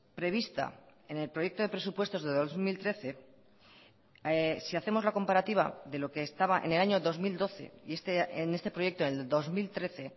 prevista en el proyecto de presupuestos de dos mil trece si hacemos la comparativa de lo que estaba en el año dos mil doce y en este proyecto del dos mil trece